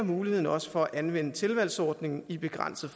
muligheden også for at anvende tilvalgsordningen i en begrænset